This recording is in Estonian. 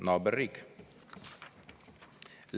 Naaberriik!